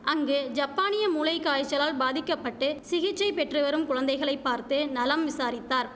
அங்கு ஜப்பானிய மூளைகாய்ச்சலால் பாதிக்க பட்டு சிகிச்சை பெற்றுவரும் குழந்தைகளை பார்த்து நலம் விசாரித்தார்